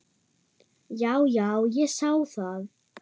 Já, já, ég sá það.